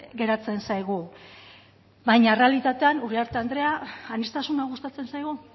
geratzen zaigu baina errealitatean uriarte andrea aniztasuna gustatzen zaigu